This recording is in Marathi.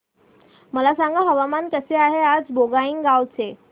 मला सांगा हवामान कसे आहे आज बोंगाईगांव चे